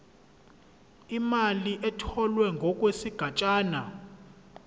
imali etholwe ngokwesigatshana